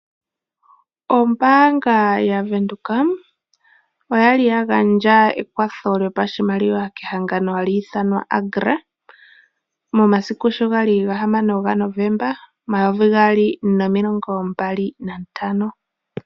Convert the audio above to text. Ombaanga yavenduka oya li ya gandja oshimaliwa kehangano hali ithanwa Agra, momasiku sho gali gahamano gaNovemba, omumvo omayovi gaali nomilongo mbali nantano.